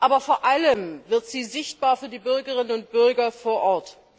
Aber vor allem wird sie sichtbar für die Bürgerinnen und Bürger vor Ort.